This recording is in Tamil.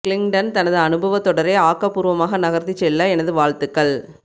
கிளிங்டன் தனது அனுபவத் தொடரை ஆக்கபூர்வமாக நகர்த்திச் செல்ல எனது வாழ்த்துக்கள்